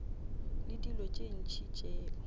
le dilo tše ntši tšeo